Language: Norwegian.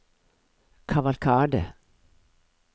kavalkade